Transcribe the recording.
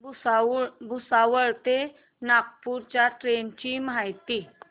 भुसावळ ते नागपूर च्या ट्रेन ची माहिती